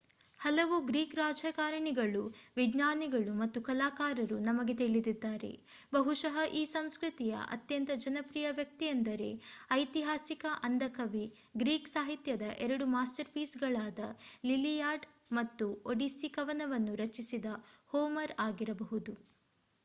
ಹಲವು ಗ್ರೀಕ್‌ ರಾಜಕಾರಣಿಗಳು ವಿಜ್ಞಾನಿಗಳು ಮತ್ತು ಕಲಾಕಾರರು ನಮಗೆ ತಿಳಿದಿದ್ದಾರೆ. ಬಹುಶಃ ಈ ಸಂಸ್ಕೃತಿಯ ಅತ್ಯಂತ ಜನಪ್ರಿಯ ವ್ಯಕ್ತಿಯೆಂದರೆ ಐತಿಹಾಸಿಕ ಅಂಧ ಕವಿ ಗ್ರೀಕ್ ಸಾಹಿತ್ಯದ ಎರಡು ಮಾಸ್ಟರ್‌ಪೀಸ್‌ಗಳಾದ ಲಿಲಿಯಾಡ್ ಮತ್ತು ಒಡಿಸ್ಸಿ ಕವನವನ್ನು ರಚಿಸಿದ ಹೋಮರ್ ಆಗಿರಬಹುದು